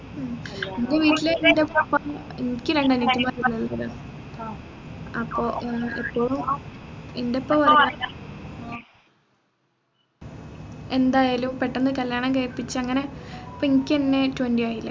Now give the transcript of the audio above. അപ്പോ വീട്ടില് എൻെറ ഉപ്പ എനിക്ക് രണ്ടാംകെട്ടിൽ അപ്പോ എൻെറ ഉപ്പ വേറെ എന്തായാലും പെട്ടെന്ന് കല്യാണം കഴിപ്പിച്ച് അങ്ങനെ ഇപ്പൊ എനിക്കെന്നെ twenty ആയില്ലേ